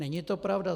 Není to pravda.